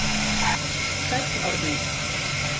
Sæll Árni.